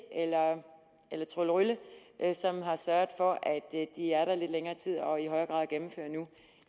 eller tryllerylle som har sørget for at de er der lidt længere tid og i højere grad gennemfører nu